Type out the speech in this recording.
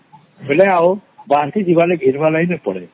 ବେଳେ ଆଉ ବର୍ଷି ନାଇଁ ଘିନିବାର ନାଇଁ ପଡେ